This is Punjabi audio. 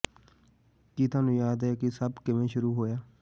ਕੀ ਤੁਹਾਨੂੰ ਯਾਦ ਹੈ ਇਹ ਸਭ ਕਿਵੇਂ ਸ਼ੁਰੂ ਹੋਇਆ